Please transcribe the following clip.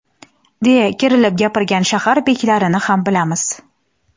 deya kerilib gapirgan shahar beklarini ham bilamiz.